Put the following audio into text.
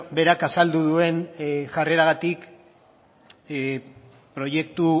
berak azaldu duen jarreragatik proiektu